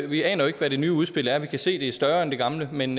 vi aner jo ikke hvad det nye udspil er vi kan se at det er større end det gamle men